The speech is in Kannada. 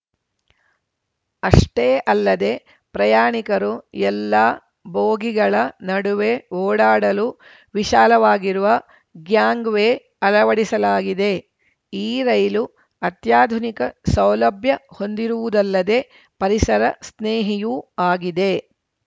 ಅಷ್ಟೇ ಅಲ್ಲದೇ ಪ್ರಯಾಣಿಕರು ಎಲ್ಲ ಬೋಗಿಗಳ ನಡುವೆ ಓಡಾಡಲು ವಿಶಾಲವಾಗಿರುವ ಗ್ಯಾಂಗ್‌ವೇ ಅಳವಡಿಸಲಾಗಿದೆ ಈ ರೈಲು ಅತ್ಯಾಧುನಿಕ ಸೌಲಭ್ಯ ಹೊಂದಿರುವುದಲ್ಲದೇ ಪರಿಸರ ಸ್ನೇಹಿಯೂ ಆಗಿದೆ